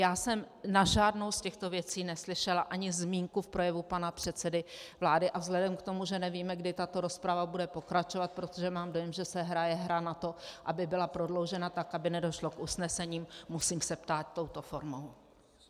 Já jsem na žádnou z těchto věcí neslyšela ani zmínku v projevu pana předsedy vlády a vzhledem k tomu, že nevíme, kdy tato rozprava bude pokračovat, protože mám dojem, že se hraje hra na to, aby byla prodloužena tak, aby nedošlo k usnesení, musím se ptát touto formou.